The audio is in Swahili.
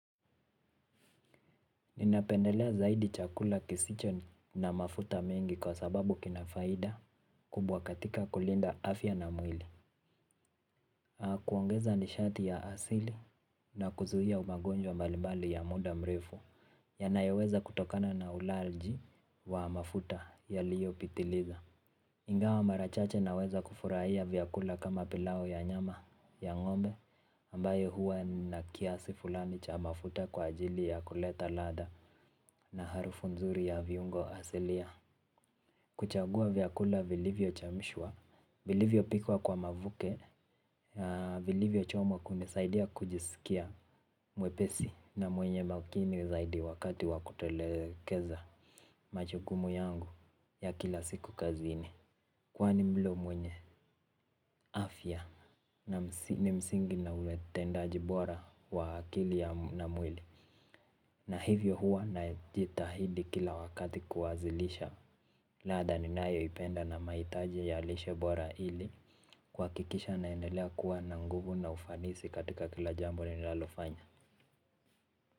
Ninapendelea zaidi chakula kisicho na mafuta mingi kwa sababu kinafaida kubwa katika kulinda afya na mwili. Haa kuongeza nishati ya asili na kuzuia umagonjwa mbalimbali ya muda mrefu ya nayoweza kutokana na ulaji wa mafuta yaliyo pitiliza. Ingawa mara chache naweza kufurahia vyakula kama pilao ya nyama ya ng'ombe ambayo huwa na kiasi fulani cha mafuta kwa ajili ya kuleta ladha na harufu nzuri ya viungo asilia. Kuchagua vyakula vilivyo chemshwa, vilivyo pikwa kwa mavuke vilivyo chomwa kunisaidia kujisikia mwepesi na mwenye makini zaidi wakati wakutelekeza machukumu yangu ya kila siku kazini. Kwani mlo mwenye, afya na ni msingi na uletendaji bora wa akili ya mwili. Na hivyo huwa na jitahidi kila wakati kuwazilisha. Ladha ninayoipenda na maitaji ya lishe bora hili. Kuakikisha naendelea kuwa na nguvu na ufanisi katika kila jambo ninalalofanya.